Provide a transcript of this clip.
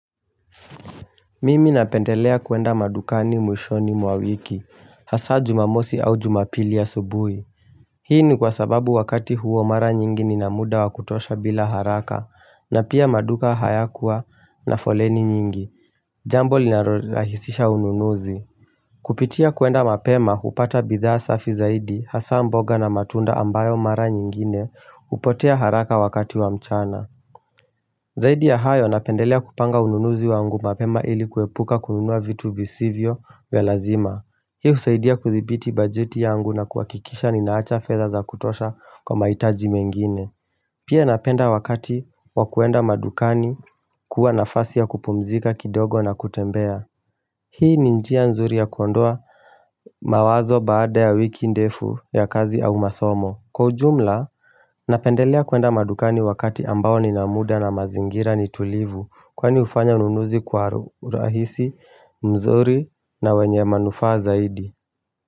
Mimi napendelea kuenda madukani mwishoni mwa wiki hasa jumamosi au jumapili ya asubuhi Hii ni kwa sababu wakati huo mara nyingi ni na muda wakutosha bila haraka na pia maduka haya kuwa na foleni nyingi Jambo linarohisisha ununuzi. Kupitia kuenda mapema upata bidhaa safi zaidi hasa mboga na matunda ambayo mara nyingine upotea haraka wakati wa mchana Zaidi ya hayo napendelea kupanga ununuzi wangu mapema ili kuepuka kununua vitu visivyo welazima. Hi husaidi ya kuthibiti bajeti yangu na kuakikisha ninaacha fedha za kutosha kwa maitaji mengine. Pia napenda wakati wakuenda madukani kuwa nafasi ya kupumzika kidogo na kutembea. Hii ninjia nzuri ya kuondoa mawazo baada ya wiki ndefu ya kazi au masomo. Kwa ujumla, napendelea kwenda madukani wakati ambao nina muda na mazingira nitulivu Kwani ufanya ununuzi kwa urahisi, mzuri na wenye manufa zaidi.